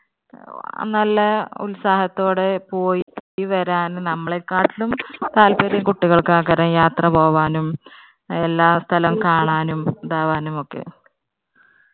ആഹ് നല്ല ഉത്സാഹത്തോടെ പോയി വരാനും നമ്മളെക്കാട്ടിലും താല്പര്യം കുട്ടികൾക്കാ ആഗ്രഹം യാത്ര പോകാനും എല്ലാ സ്ഥലം കാണാനും ഇതാവാനും ഒക്കെ.